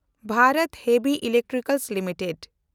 ᱵᱷᱮᱱᱰᱚᱛ Heavy Electricals limited